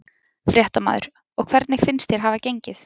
Fréttamaður: Og hvernig finnst þér hafa gengið?